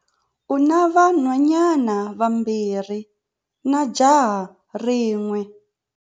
U na vanhwanyana vambirhi na jaha rin'we.